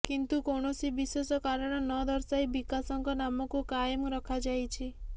କିନ୍ତୁ କୌଣସି ବିଶେଷ କାରଣ ନଦର୍ଶାଇ ବିକାଶଙ୍କ ନାମକୁ କାଏମ ରଖାଯାଇଛି